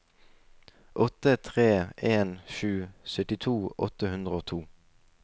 åtte tre en sju syttito åtte hundre og to